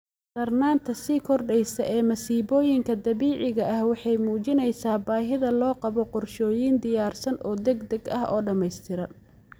Darnaanta sii kordheysa ee masiibooyinka dabiiciga ah waxay muujineysaa baahida loo qabo qorshooyin diyaarsan oo degdeg ah oo dhamaystiran.